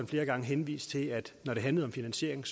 flere gange henvist til at når det handler om finansiering